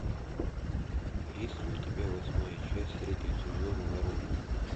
есть ли у тебя восьмая часть третьего сезона воронины